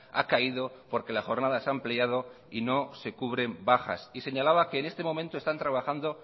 ha caído porque la jornada se ampliado y no se cubren bajas y señalaba que en este momento están trabajando